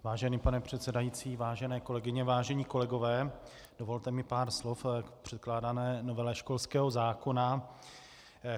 Vážený pane předsedající, vážené kolegyně, vážení kolegové, dovolte mi pár slov k předkládané novele školského zákona.